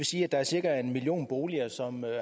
sige at der er cirka en million boliger som